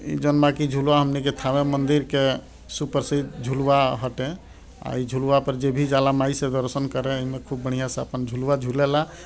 इ जोना में की झूला हमनी के थामे मंदिर के सुपर से इ झूलवा हटे आ इ झूलवा पे जे भी जाला माई से दर्शन करें इ में खूब बढ़िया से अपन झुलवा झूलेला।